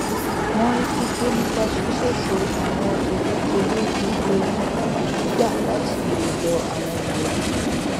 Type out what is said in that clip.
wọn rí pípé nípa ṣíṣètò àwọn gbèdéke lórí iye ìmọràn gbígbà láti ọdọ àwọn mọlẹbí